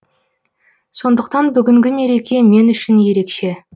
сондықтан бүгінгі мереке мен үшін ерекше